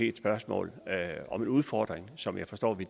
et spørgsmål om en udfordring som jeg forstår vi